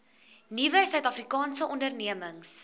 nuwe suidafrikaanse ondernemings